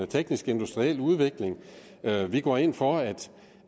teknisk industriel udvikling vi går ind for